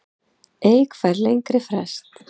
Eik fær lengri frest